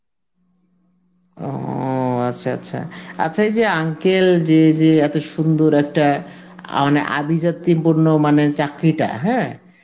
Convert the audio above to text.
ও আচ্ছা আচ্ছা, আচ্ছা এই যে uncle যে যে এত সুন্দর একটা অ মানে আভিজাত্তি পূর্ণ মানে চাকরিটা হ্যাঁ